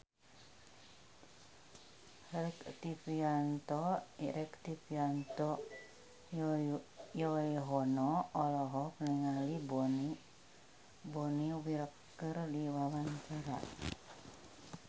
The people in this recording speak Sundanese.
Rektivianto Yoewono olohok ningali Bonnie Wright keur diwawancara